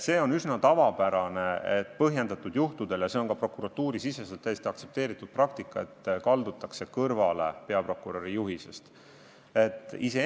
See on üsna tavapärane, et põhjendatud juhtudel – ja see on ka prokuratuurisiseselt täiesti aktsepteeritud praktika – kaldutakse peaprokuröri juhisest kõrvale.